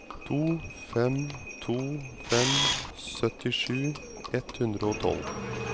to fem to fem syttisju ett hundre og tolv